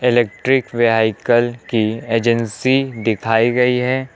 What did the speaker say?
Electric vehicle की agency दिखाई गई है।